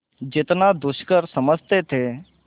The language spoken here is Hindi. जितना दुष्कर समझते थे